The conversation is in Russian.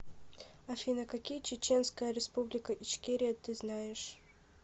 афина какие чеченская республика ичкерия ты знаешь